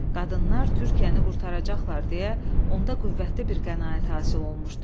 Qadınlar Türkiyəni qurtaracaqlar deyə onda qüvvətli bir qənaət hasil olmuşdu.